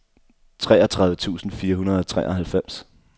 treogtredive tusind fire hundrede og treoghalvfems